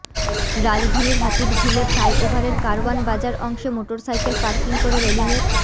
রাজধানীর হাতিরঝিলে ফ্লাইওভারের কারওয়ান বাজার অংশে মোটরসাইকেল পার্কিং করে রেলিংয়ের